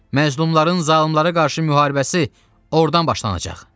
Məzlumların zalımlara qarşı müharibəsi ordan başlanacaq.